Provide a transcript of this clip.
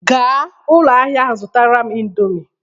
Gaa ụlọ ahịa ahụ zụtara m indomi